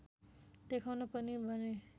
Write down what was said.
देखाउन पनि भने